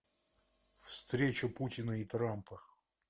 встреча путина и трампа